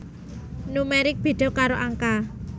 Numerik béda karo angka